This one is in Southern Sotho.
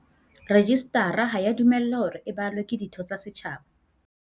Rejistara ha ea dumellwa hore e balwe ke ditho tsa setjhaba.